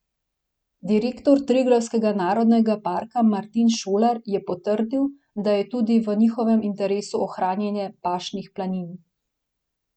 Direktor Triglavskega narodnega parka Martin Šolar je potrdil, da je tudi v njihovem interesu ohranjanje pašnih planin.